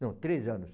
Não, três anos.